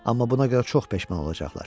Amma buna görə çox peşman olacaqlar.